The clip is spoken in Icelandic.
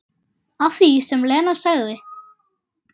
Að því sem Lena sagði.